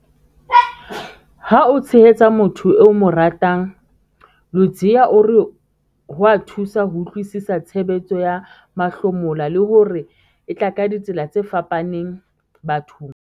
Ha o tshehetsa motho eo o mo ratang, Ludziya o re ho a thusa ho utlwisisa tshebetso ya mahlomola, le hore e tla ka ditsela tse fapaneng bathong.